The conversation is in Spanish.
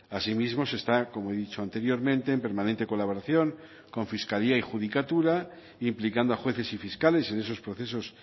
asimismo se está como he dicho anteriormente en permanente colaboración con fiscalía y judicatura implicando a jueces y fiscales en esos procesos